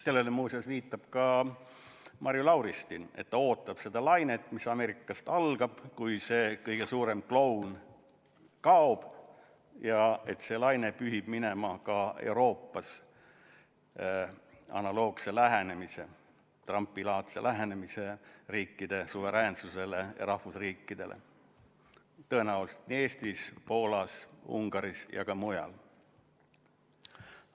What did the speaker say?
Sellele muuseas viitab ka Marju Lauristin, öeldes, et ta ootab seda lainet, mis Ameerikast algab, kui see kõige suurem kloun kaob ja see laine pühib minema analoogse Trumpi-laadse lähenemise riikide suveräänsusele ja rahvusriikidele ka Euroopas, tõenäoliselt nii Eestis, Poolas, Ungaris kui ka mujal.